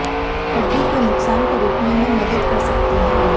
हड्डी के नुकसान को रोकने में मदद कर सकते हैं